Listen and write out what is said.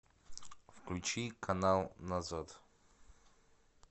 включи канал назад